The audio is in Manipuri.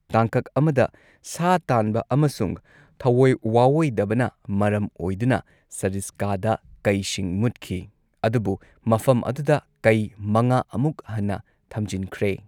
ꯇꯥꯡꯀꯛ ꯑꯃꯗ, ꯁꯥ ꯇꯥꯟꯕ ꯑꯃꯁꯨꯡ ꯊꯑꯣꯏ ꯋꯥꯑꯣꯏꯗꯕꯅ ꯃꯔꯝ ꯑꯣꯏꯗꯨꯅ, ꯁꯔꯤꯁꯀꯥꯗ ꯀꯩꯁꯤꯡ ꯃꯨꯠꯈꯤ, ꯑꯗꯨꯕꯨ ꯃꯐꯝ ꯑꯗꯨꯗ ꯀꯩ ꯃꯉꯥ ꯑꯃꯨꯛ ꯍꯟꯅ ꯊꯝꯖꯤꯟꯈ꯭ꯔꯦ꯫